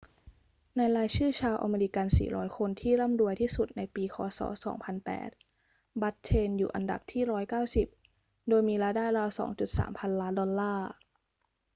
ในรายชื่อชาวอเมริกัน 400 คนที่ร่ำรวยที่สุดในปีค ศ. 2008 บัตเทนอยู่อันดับที่ 190 โดยมีรายได้ราว 2.3 พันล้านดอลลาร์